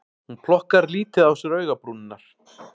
Hún plokkar lítið á sér augabrúnirnar